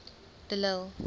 de lille